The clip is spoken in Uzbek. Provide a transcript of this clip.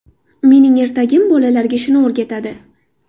Mening ertagim bolalarga shuni o‘rgatadi.